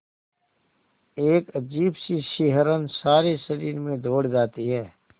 एक अजीब सी सिहरन सारे शरीर में दौड़ जाती है